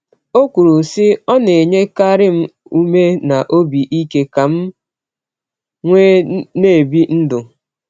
O kwuru sị: “Ọ na nyekarị m ume na obi ike ka m nwee n'ebị ndụ.”